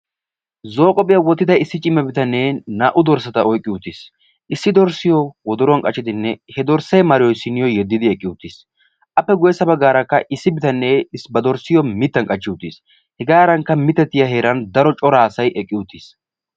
Zo'o qobbiya wottidda bitane naa'u dorssatta mittan qachchiddi oyqqi uttiis.